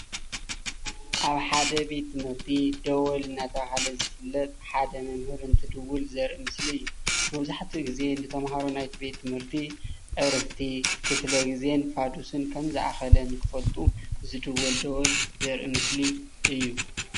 አብ ሓደ ቤት ትምህርቲ ደወል እናተባሃለ ዝፍለጥ ሓደ መምህር እንትድውል ዘርእይ ምስሊ እዩ:: መብዝሓቲኡ ግዘ ንተምሃሮ ናይ ቤት-ትምርቲ ዕረፍቲ ክፍለ ግዘን ፍድስን ከም ዘአከለን ክፈልጡ ዝድወል ደወል ዘርኢ ምስሊ እዩ::